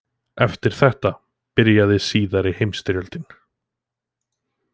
Eftir þetta byrjaði síðari heimsstyrjöldin.